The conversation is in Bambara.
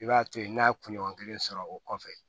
I b'a to yen n'a ye kunɲɔgɔn kelen sɔrɔ o kɔfɛ